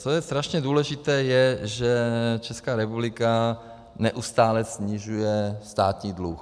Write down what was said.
Co je strašně důležité, je, že Česká republika neustále snižuje státní dluh.